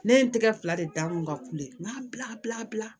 Ne ye n tɛgɛ fila de da n kun ka kule n m'a bila